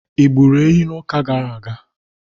I gburu ehi n'ụka gara aga?